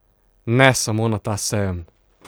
Ne samo na ta sejem!